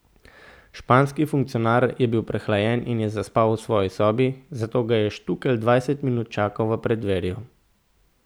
Španski funkcionar je bil prehlajen in je zaspal v svoji sobi, zato ga je Štukelj dvajset minut čakal v preddverju.